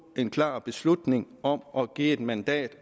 en klar beslutning om at give et mandat